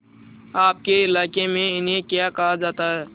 आपके इलाके में इन्हें क्या कहा जाता है